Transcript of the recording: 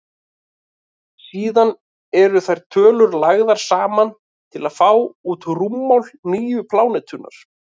síðan eru þær tölur lagðar saman til að fá út rúmmál nýju plánetunnar